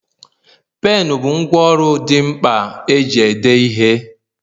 Penu bụ ngwá ọrụ dị mkpa eji ede ihe